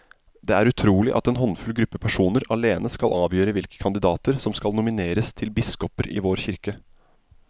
Det er utrolig at en håndfull gruppe personer alene skal avgjøre hvilke kandidater som skal nomineres til biskoper i vår kirke.